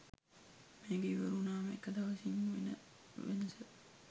මේක ඉවර වුනාම එක දවසින් වෙන වෙනස